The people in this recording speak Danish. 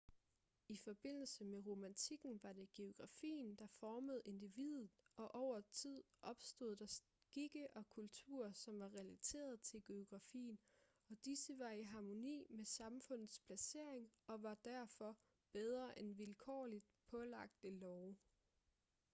i forbindelse med romantikken var det geografien der formede individet og over tid opstod der skikke og kulturer som var relateret til geografien og disse var i harmoni med samfundets placering og var derfor bedre end vilkårligt pålagte love